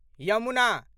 Yamuna